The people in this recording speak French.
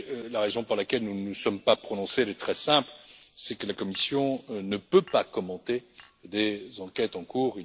La raison pour laquelle nous ne nous sommes pas prononcés est très simple, c'est que la Commission ne peut pas commenter des enquêtes en cours.